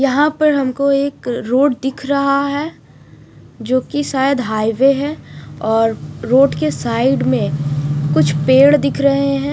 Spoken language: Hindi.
यहां पर हमको एक रोड दिख रहा है जो कि शायद हाईवे है और रोड के साइड में कुछ पेड़ दिख रहे हैं।